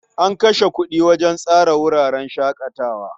An kashe kuɗi wajen tsara wuraren shaƙatawa.